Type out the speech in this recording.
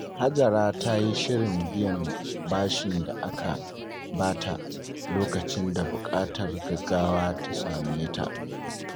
Hajara ta yi shirin biyan bashin da aka bata lokacin da buƙatar gaggawa ta same ta.